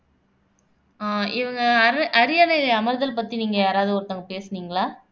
ஆஹ் இவங்க அர அரியணை அமர்தல் பத்தி நீங்க யாராவது ஒருத்தவங்க பேசுனீங்களா